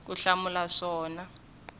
ku hlamula swona handle ko